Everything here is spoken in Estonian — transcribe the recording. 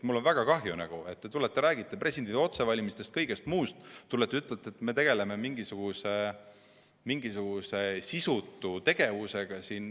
Mul on väga kahju, et te räägite presidendi otsevalimisest, kõigest muust, ja siis ütlete, et me tegeleme siin mingisuguse sisutu tegevusega.